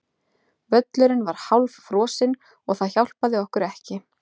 Völlurinn var hálffrosinn og það hjálpaði okkur ekki.